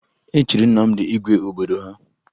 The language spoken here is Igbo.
E chiri Nnamdị igwe obodo ha